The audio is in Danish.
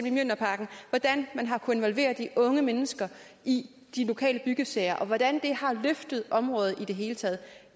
i mjølnerparken hvordan man har kunnet involvere de unge mennesker i de lokale byggesager og hvordan det har løftet området i det hele taget